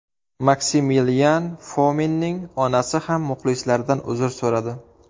Maksimilian Fominning onasi ham muxlislardan uzr so‘radi.